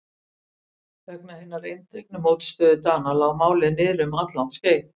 Vegna hinnar eindregnu mótstöðu Dana lá málið niðri um alllangt skeið.